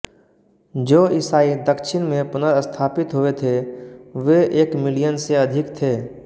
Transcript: जो ईसाई दक्षिण में पुनर्स्थापित हुए थे वे एक मिलियन से अधिक थे